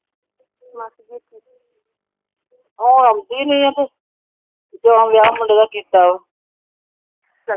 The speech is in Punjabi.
ਉਹ ਆਉਂਦੀ ਨਹੀਂ। ਜਿਦਣ ਦਾ ਵਿਆਹ ਮੁੰਡਾ ਦਾ ਕੀਤਾ। ਚੰਗਾ ਵਿਆਹ ਮੁੰਡੇ ਦਾ ਕੀਤਾ। ਉਸ ਤਰਹ ਤਾਂ ਚੰਗੀ ਭਲੀ ਏ। ਮਾਸੀ।